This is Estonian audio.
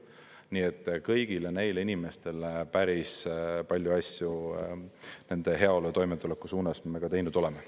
Nii et kõigile neile inimestele päris palju asju nende heaolu ja toimetuleku suunas me teinud oleme.